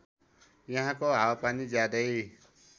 यहाँको हावापानी ज्यादै